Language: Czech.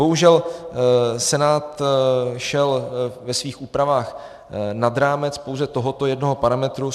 Bohužel Senát šel ve svých úpravách nad rámec pouze tohoto jednoho parametru.